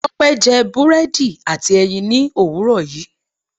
Tópé je búrédì àti èyìn ni òwúrò yi